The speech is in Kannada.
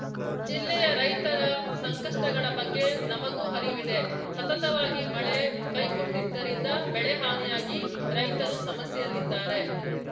ಜಿಲ್ಲೆಯ ರೈತರ ಸಂಕಷ್ಟಗಳ ಬಗ್ಗೆ ನಮಗೂ ಅರಿವಿದೆ ಸತತವಾಗಿ ಮಳೆ ಕೈಕೊಟ್ಟಿದ್ದರಿಂದ ಬೆಳೆ ಹಾನಿಯಾಗಿ ರೈತರೂ ಸಮಸ್ಯೆಯಲ್ಲಿದ್ದಾರೆ